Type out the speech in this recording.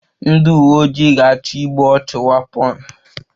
Ndị uwe ojii ga-achọ igbu ọchụ wapon